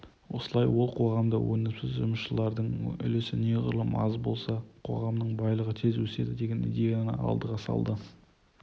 осылай ол қоғамда өнімсіз жұмысшылардың үлесі неғұрлым аз болса қоғамның байлығы тез өседі деген идеяны алдыға салды